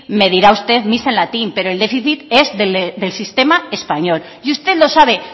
me dirá usted misa en latín pero el déficit es del sistema español y usted lo sabe